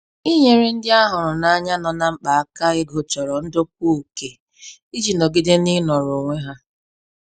Inyere ndị a hụrụ n'anya nọ na mkpa aka ego chọrọ ndokwa oke iji nọgide n'inọrọ onwe ha.